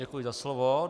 Děkuji za slovo.